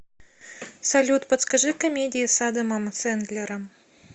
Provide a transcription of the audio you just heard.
салют подскажи комедии с адамом сендлером